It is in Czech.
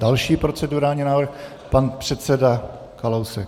Další procedurální návrh, pan předseda Kalousek.